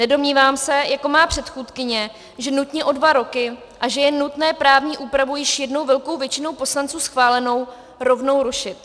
Nedomnívám se jako moje předchůdkyně, že nutně o dva roky a že je nutné právní úpravu již jednou velkou většinou poslanců schválenou rovnou rušit.